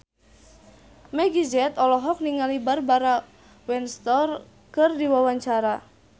Meggie Z olohok ningali Barbara Windsor keur diwawancara